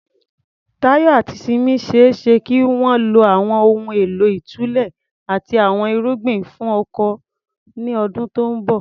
Tayo àti Simi ṣe é ṣe kí wọ́n lo àwọn ohun èlò ìtúlẹ̀ àti àwọn irugbin fún oko ní ọdún tó ń bọ̀.